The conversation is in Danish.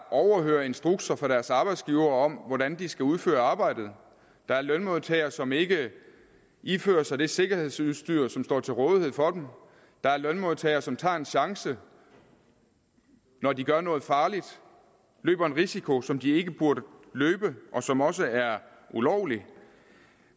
overhører instrukser fra deres arbejdsgivere om hvordan de skal udføre arbejdet der er lønmodtagere som ikke ifører sig det sikkerhedsudstyr som står til rådighed for dem der er lønmodtagere som tager en chance når de gør noget farligt og løber en risiko som de ikke burde løbe og som også er ulovlig